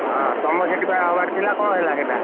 ହଁ ତମର ସେଠି ବା ହବାର ଥିଲା କଣ ହେଲା ସେଇଟା?